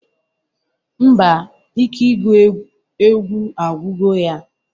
Ḿbà, ike igụ ewgu agwugo ya.